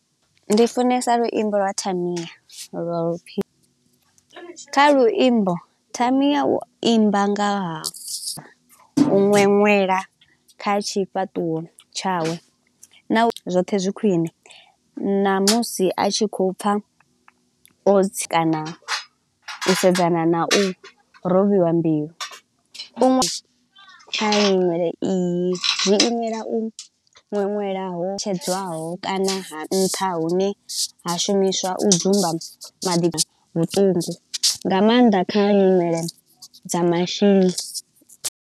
Ndi funesa luimbo lwa Tamiah lwa u pfi kha luimbo Tamiah u imba nga half u ṅweṅwela kha tshifhaṱuwo tshawe. Zwoṱhe zwi khwine, ṋamusi a tshi khou pfa otsi kana u sedzana na u rovhiwa mbilu. U nwa kha nyimele iyi, zwi imile u ṅweṅwelaho tshedzwaho kana ha nṱha hune ha shumiswa u dzumba madiba vhuṱungu. Nga maanḓa kha nyimele dza mashini.